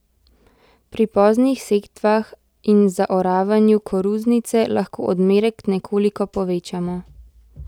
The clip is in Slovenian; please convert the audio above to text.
Pri poznih setvah in zaoravanju koruznice lahko odmerek nekoliko povečamo.